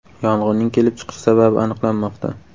Yong‘inning kelib chiqish sababi aniqlanmoqda.